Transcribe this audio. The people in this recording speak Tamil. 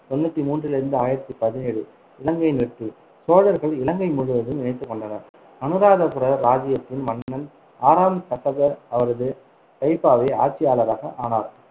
தொண்ணூத்தி மூன்றிலிருந்து ஆயிரத்தி பதினேழு இலங்கையின் வெற்றிசோழர்கள் இலங்கை முழுவதையும் இணைத்துக்கொண்டனர், அனுராதபுர இராச்சியத்தின் மன்னன் ஆறாம் கசப அவரது கைப்பாவை ஆட்சியாளராக ஆனார்